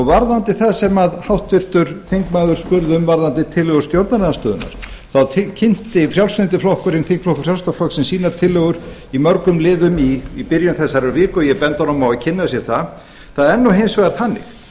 varðandi það sem háttvirtur þingmaður spurði um varðandi tillögur stjórnarandstöðunnar þá kynnti þingflokkur frjálslynda flokksins sínar tillögur í mörgum liðum í byrjun þessarar viku og ég bendi honum á að kynna sér það það er nú hins vegar þannig